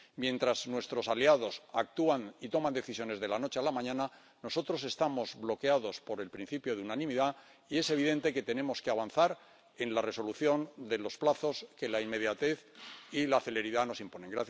Mientras nuestros aliados actúan y toman decisiones de la noche a la mañana, nosotros estamos bloqueados por el principio de unanimidad y es evidente que tenemos que avanzar en la resolución de los plazos que la inmediatez y la celeridad nos imponen.